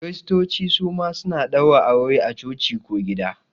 Kiristoci suma suna ɗaura aure a coci ko gida